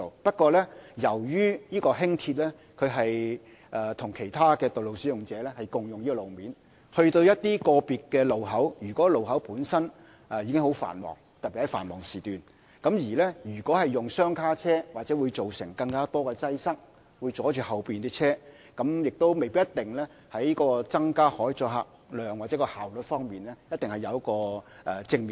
但是，由於輕鐵與其他道路使用者共用路面，在某些個別路口上，如果該路口本身的交通已經相當繁忙，特別是在繁忙時段，使用雙卡車輛也許會造成更多擠塞，例如阻礙後方的車輛，在增加可載客量或提升效率方面未必可以產生正面作用。